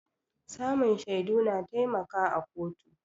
Samun shaidu na taimaka a kotu